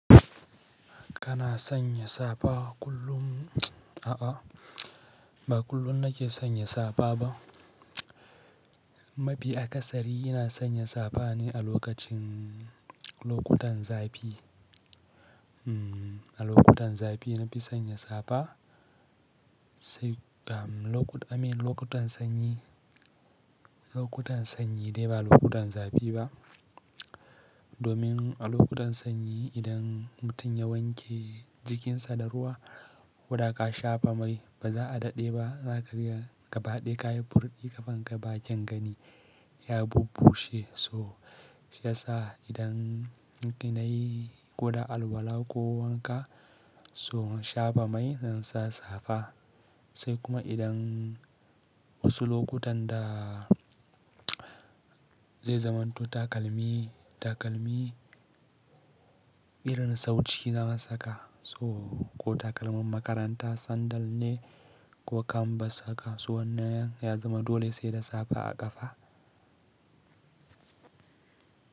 Kana sanya safa kullum? A'a, ba kullum na ke sanya safa ba. Mafi akasari ina sanya safa ne a lokacin lokutan zafi. A lokutan zafi na fi sanya safa sai, I mean lokutan sanyi. Lokutan sanyi dai ba lokutan zafi ba. Domin a lokutan sanyi idan mutum ya wanke jikinsa da ruwa, ko da ka shafa mai ba za a daɗe ba za ka ga ya gabaɗaya kayi burfi kaman ka ba kyan gani, ya bubbace. So shi yasa idan in na yi koda alwala ko wanka, so in shafa mai zan sa safa. Sai kuma idan wasu lokutan da zai zamanto takalmi, takalmi irin sauci na saka so ko takalman makaranta sandal ne ko kambas haka so wannan ya zama dole sai da safa a ƙafa.